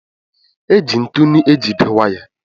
E ji ntụnụ e jide waya.